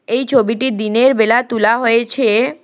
এই ছবিটি দিনের বেলা তুলা হয়েছে।